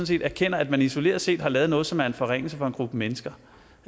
set erkender at man isoleret set har lavet noget som er en forringelse for en gruppe mennesker